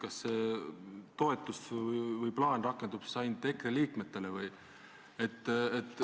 Kas see toetus või plaan rakendub siis ainult EKRE liikmetele või?